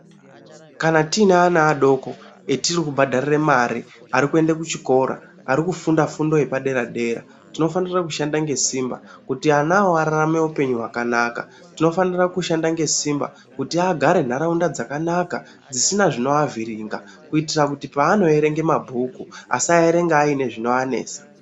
Kana tine ana adoko etiri kubhadharira mari arikuende kuchikora ari kufunda fundo yedera dera tinofanira kushanda ngesimba kuti anawo ararame upenyu hwakanaka. Tinofanira kushanda ngesimba kuti agare ntaraunda dzakanaka dzisina zvinoavhiringa kuitira kuti paano erenge mabhuku asaerenga ane zvinoanesa.